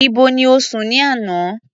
Ibo ni o sùn ní àná?